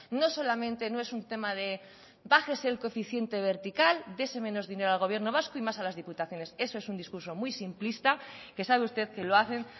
no solamente no es un tema de bájese el coeficiente vertical dese menos dinero al gobierno vasco y más a las diputaciones eso es un discurso muy simplista que sabe usted que lo hacen